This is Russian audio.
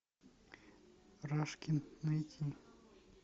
рашкин найти